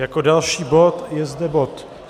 Jako další bod je zde bod